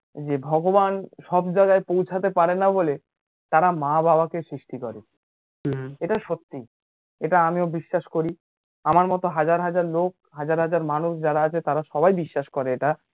যে ভগবান সবজায়গায় পৌঁছাতে পারেনা বলে তারা মা বাবাকে সৃষ্টি করে হুম এটা সত্যি, এটা আমিও বিশ্বাস করি, আমার মতো হাজার হাজার লোক, হাজার হাজার মানুষ যারা আছে তারা সবাই বিশ্বাস করে এটা যে